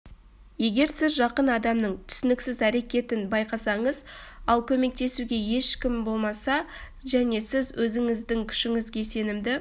егер сіз жақын адамның түсініксіз әрекетін байқасаңыз ал көмектесуге екім болмаса және сіз өзіңіздің күшіңізге сенімді